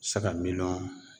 Saga miliyɔn